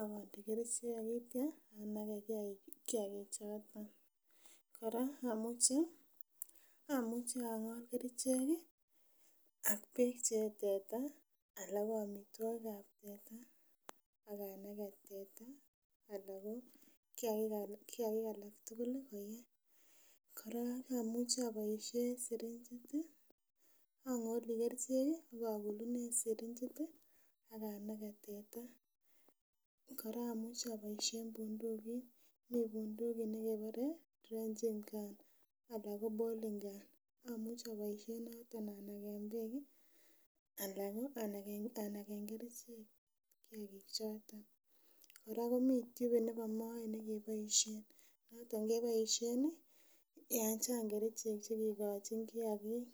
akonde kerichek akitia anakee kiagichoton ,kora amuchi ang'ol kerichek ak beek chee teta ala ko amitwokikab teta akanake teta ala ko kiaki alak tugul koyee, kora amuchi aboisien syringit ii ang'oli kerichek ako kulunen syringit ii akanake teta, kora amuche aboisien bundukit mi bundukit nekebore trenching gun ala ko boling gun amuche aboisien noton anaken beek ii ala ko anaken kerichek kiagichoton kota komii tubit nebo moet nekeboisien noton keboisien yan chang kerichek chekikochin kiagik.